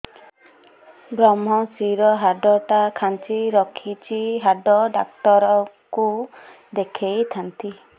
ଵ୍ରମଶିର ହାଡ଼ ଟା ଖାନ୍ଚି ରଖିଛି ହାଡ଼ ଡାକ୍ତର କୁ ଦେଖିଥାନ୍ତି